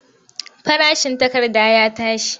Farashin takarda ya tashi.